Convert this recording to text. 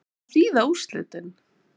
Hvað þýða úrslitin?